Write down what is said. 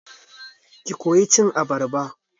Ki koya cin abarba!